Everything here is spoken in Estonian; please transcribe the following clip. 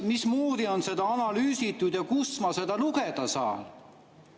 Mismoodi on seda analüüsitud ja kus ma selle kohta lugeda saan?